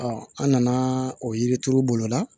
an nana o yiri turu bolo la